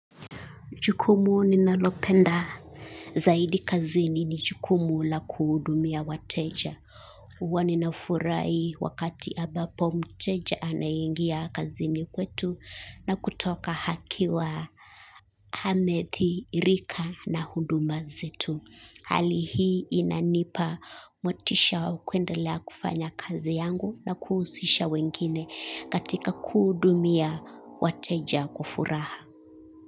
Jukumu ninalopenda zaidi kazini ni jukumu la kuhudumia wateja. Huwa ninafurha wakati ambapo mteja anaingia kazini kwetu na kutoka akiwa amedhirika na huduma zetu. Hali hii inanipa motisha wa kuendelea kufanya kazi yangu na kuhusisha wengine katika kuhudumia wateja kwa furaha.